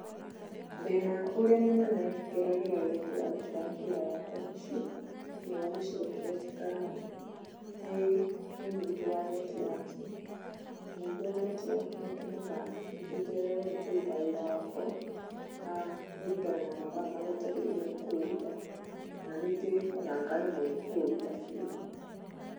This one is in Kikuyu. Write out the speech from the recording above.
Thĩĩna ũrĩa mũnene ngeragĩra rĩrĩa ndĩrarutĩra wĩra wakwa mũciĩ thĩiniĩ wa gĩcigo kĩrĩa njĩkaraga, nĩ ũnyihu wa netiwaki. Ũnyihu wa netiwaki nĩ ũtũmaga ningĩ njererwo nĩ kũruta wĩra wakwa kũringana na mathaa marĩa njagĩrĩirwo nĩ kũũruta, kana rĩngĩ o na ngaremwo nĩ kũũruta biũ.